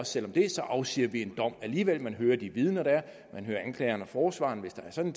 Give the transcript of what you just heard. selv om det så afsiger en dom alligevel man hører de vidner der er man hører anklageren og forsvareren hvis der er sådan